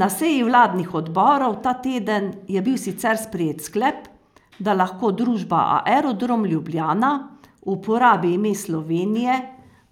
Na seji vladnih odborov ta teden je bil sicer sprejet sklep, da lahko družba Aerodrom Ljubljana uporabi ime Slovenije